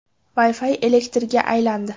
Wi-Fi elektrga aylandi.